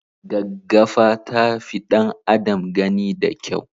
Gaggafa ta fi ɗan adam gani de kyau.